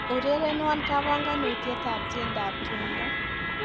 Urerenwo kabanganutietab tiendoab tumdo